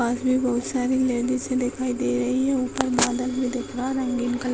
पास मे बहुत सारे लेडिस दिखाई दे रही है ऊपर बदल भी दिख रहा है रंगीन कलर --